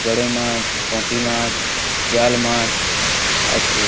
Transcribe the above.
গোড়োই মাছ পুঁটিমাছ জাল মাছ আছে।